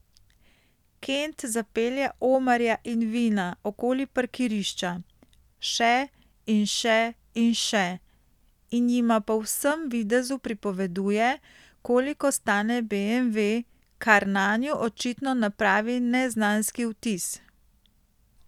Kent zapelje Omarja in Vina okoli parkirišča, še in še in še, in jima po vsem videzu pripoveduje, koliko stane beemve, kar nanju očitno napravi neznanski vtis.